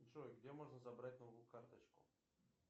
джой где можно забрать новую карточку